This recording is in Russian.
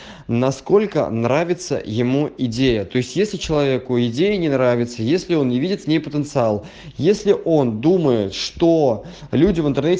насколько нравится ему идея то есть если человеку идею не нравится если он не видит в ней потенциал если он думает что люди в интернете